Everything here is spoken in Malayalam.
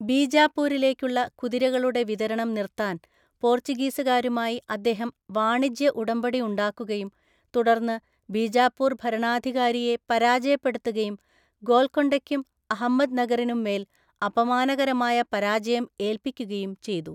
ബീജാപൂരിലേക്കുള്ള കുതിരകളുടെ വിതരണം നിർത്താൻ പോർച്ചുഗീസുകാരുമായി അദ്ദേഹം വാണിജ്യ ഉടമ്പടി ഉണ്ടാക്കുകയും തുടർന്ന് ബീജാപ്പൂർ ഭരണാധികാരിയെ പരാജയപ്പെടുത്തുകയും ഗോൽക്കൊണ്ടയ്ക്കും അഹമ്മദ്നഗറിനുംമേല്‍ അപമാനകരമായ പരാജയം ഏല്‍പ്പിക്കുകയും ചെയ്തു.